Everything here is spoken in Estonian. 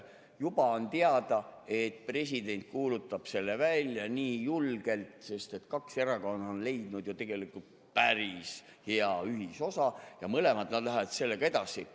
Juba on teada, et president kuulutab selle välja, nii julgelt, sest kaks erakonda on leidnud ju tegelikult päris hea ühisosa ja nad mõlemad lähevad sellega edasi.